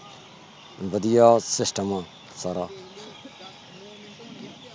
ਵਧੀਆ system ਆ ਸਾਰਾ